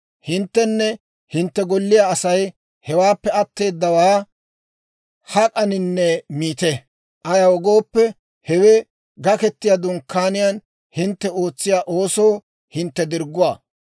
Hinttenne hintte golliyaa Asay hewaappe atteedawaa hak'aninne miite; ayaw gooppe, hewe Gaketiyaa Dunkkaaniyaan hintte ootsiyaa oosoo hintte dirgguwaa.